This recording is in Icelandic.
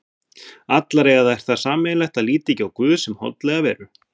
Allar eiga þær það sameiginlegt að líta ekki á guð sem holdlega veru.